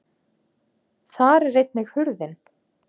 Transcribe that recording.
Þar er einnig hurðin.